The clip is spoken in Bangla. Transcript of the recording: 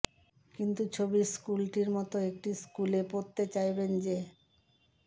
কিন্তু ছবির স্কুলটির মতো একটি স্কুলে পড়তে চাইবেন যে